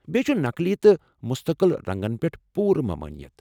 بیٚیہ چھ نقلی تہٕ مٗستقل رنٛگن پٮ۪ٹھ پوُرٕ ممٲنِیت ۔